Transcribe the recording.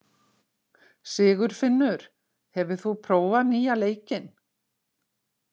Sigurfinnur, hefur þú prófað nýja leikinn?